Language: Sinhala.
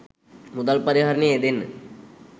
මුදල් පරිහරණයේ යෙදෙන්න.